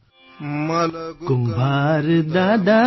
Assamese sound clip 35 seconds Hindi translation